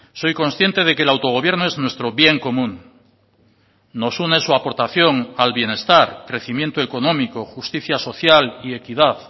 soy consciente de que el autogobierno es nuestro bien común nos une su aportación al bienestar crecimiento económico justicia social y equidad